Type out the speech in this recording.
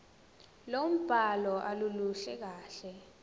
lombhalo aluluhle kahle